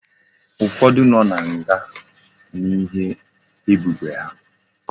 Ufodu no na nga n'ihe ebubo ugha